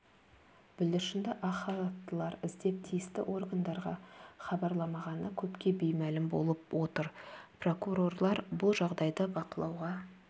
бүлдіршінді ақ халаттылар іздеп тиісті органдарға хабарламағаны көпке беймәлім болып отыр прокурорлар бұл жағдайды бақылауға